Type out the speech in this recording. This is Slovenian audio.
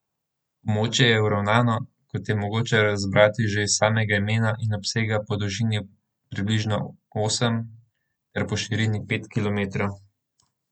Območje je uravnano, kot je mogoče razbrati že iz samega imena, in obsega po dolžini približno osem ter po širini pet kilometrov.